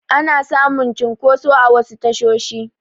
Ana samun cunkoso a wasu tashoshi